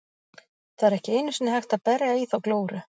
Það er ekki einu sinni hægt að berja í þá glóru.